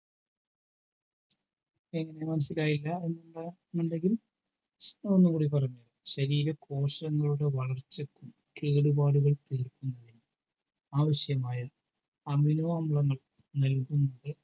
എങ്ങനെ മനസിലായില്ല എന്താ അത് ഒന്നൂടെ പറഞ്ഞേരോ ശരീര കോശങ്ങളുടെ വളർച്ചക്കും കേടുപാടുകൾ തീർക്കുന്നതിനും ആവിശ്യമായ amino അമ്ലങ്ങൾ നൽകുന്ന